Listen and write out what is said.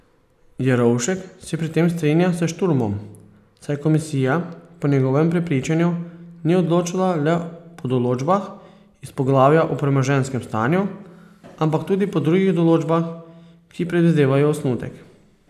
Jerovšek se pri tem strinja s Šturmom, saj komisija po njegovem prepričanju ni odločala le po določbah iz poglavja o premoženjskem stanju, ampak tudi po drugih določbah, ki predvidevajo osnutek.